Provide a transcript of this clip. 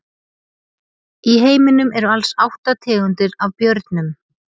Í heiminum eru alls átta tegundir af björnum.